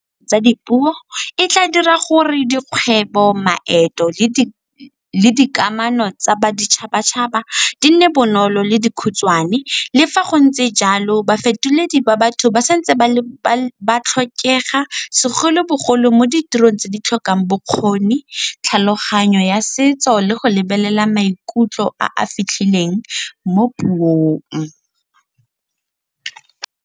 Tsa dipuo e tla dira gore dikgwebo, maeto le dikamano tsa boditšhabatšhaba di nne bonolo le dikhutshwane. Le fa go ntse jalo ba fetoledi ba batho ba sa ntse ba tlhokega segolobogolo mo ditirong tse di tlhokang bokgoni tlhaloganyo ya setso le go lebelela maikutlo a a fitlhileng mo puong.